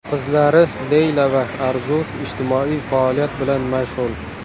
Qizlari Leyla va Arzu ijtimoiy faoliyat bilan mashg‘ul.